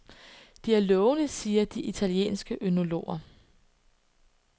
De er lovende, siger de italienske ønologer.